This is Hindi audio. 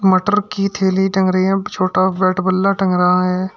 मटर की थैली टंग रही है और छोटा बैट बल्ला टंग रहा है।